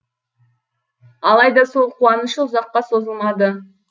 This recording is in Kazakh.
алайда сол қуанышы ұзаққа созылмады